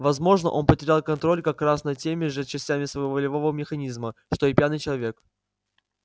возможно он потерял контроль как раз над теми же частями своего волевого механизма что и пьяный человек